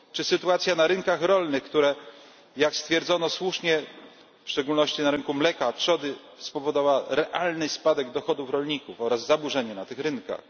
Czy sytuacja na rynkach rolnych, która jak słusznie stwierdzono w szczególności na rynku mleka, trzody spowodowała realny spadek dochodów rolników oraz zaburzenia na tych rynkach.